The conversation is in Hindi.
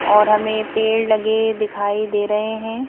और हमें पेड़ लगे दिखाई दे रहे हैं।